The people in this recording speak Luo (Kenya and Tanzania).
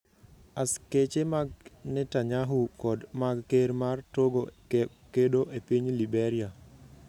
Askeche mag Netanyahu kod mag ker mar Togo kedo e piny Liberia